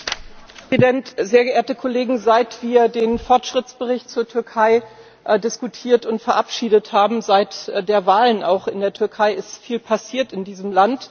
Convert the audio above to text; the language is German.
Herr Präsident! Sehr geehrte Kollegen, seit wir den Fortschrittsbericht zur Türkei diskutiert und verabschiedet haben, auch seit den Wahlen in der Türkei ist viel passiert in diesem Land!